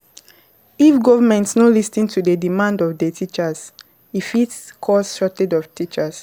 If government no lis ten to di demand of di teachers e fit cause shortage of teachers